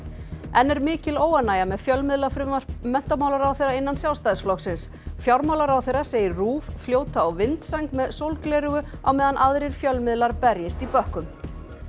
enn er mikil óánægja með fjölmiðlafrumvarp menntamálaráðherra innan Sjálfstæðisflokksins fjármálaráðherra segir RÚV fljóta á vindsæng með sólgleraugu á meðan aðrir fjölmiðlar berjist í bökkum